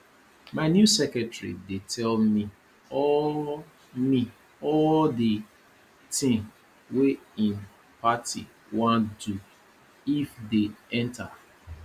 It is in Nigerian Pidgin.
my new secretary dey tell me all me all the thing wey his party wan do if they enter